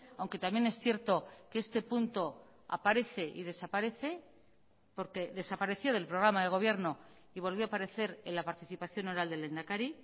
aunque también es cierto que este punto aparece y desaparece porque desapareció del programa de gobierno y volvió a aparecer en la participación oral del lehendakari